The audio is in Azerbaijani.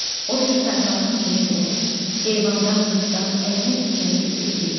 O bir tayfanın içinə gəlir, heyvandan, qızdan əlinə keçəni götürüb gedirdi.